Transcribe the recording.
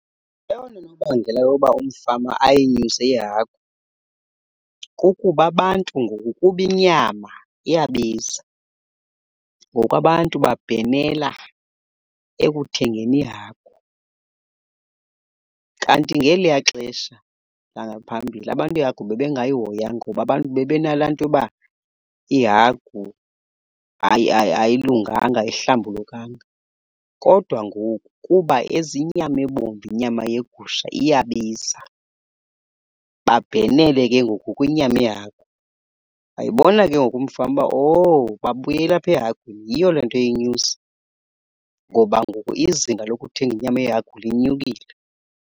Eyona nobangela yoba umfama ayinyuse ihagu kukuba abantu ngoku kuba inyama iyabiza. Ngoku abantu babhenela ekuthengeni ihagu. Kanti ngeliya xesha langaphambili abantu ihagu bebengayihoyi kakhulu abantu bebenala nto yoba ihagu ayilunganga ayihlambulukanga. Kodwa ngoku kuba inyama ebomvu inyama yegusha iyabiza, babhenele ke ngoku kwinyama yehagu. Wayibona ke ngoku umfama uba owu babuyele apha ehagwini, yiyo le nto eyinyusa ngoba ngoku izinga lokuthenga inyama yehagu linyukile.